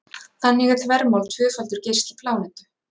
Þannig er þvermál tvöfaldur geisli plánetu.